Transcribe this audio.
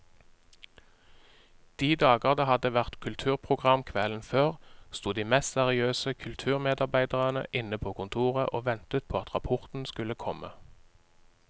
De dager det hadde vært kulturprogram kvelden før, sto de mest seriøse kulturmedarbeidere inne på kontoret og ventet på at rapporten skulle komme.